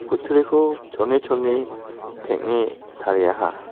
kutturiko chone chone peng·e tariaha.